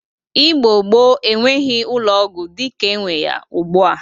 Igbo gboo enweghi ụlọ ọgwọ dịka enwe ya ugbụa.